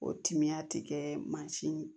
O timiya ti kɛ mansin ye